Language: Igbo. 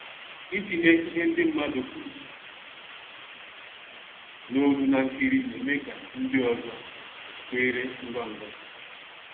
Ịtinye ihe ndị mmadụ kwuru n'olu na nkiri na-eme ka ndị ọzọ kweere ngwa ngwa